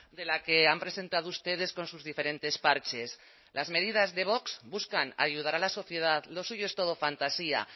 de la que han presentado ustedes con sus diferentes parches las medidas de vox buscan ayudar a la sociedad lo suyo es todo fantasía